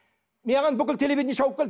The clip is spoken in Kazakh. маған бүкіл телевидение шауып келді